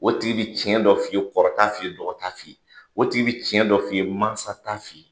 O tigi be tiɲɛ dɔ f'i ye, kɔrɔ t'a f'i ye, dɔgɔ t'a f'i ye. O tigi be tiɲɛ dɔ f'i ye, mansa t'a f'i ye.